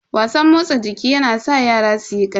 Wasan motsa jiki yana sa yara suyi karfi.